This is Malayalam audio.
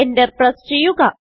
Enter പ്രസ് ചെയ്യുക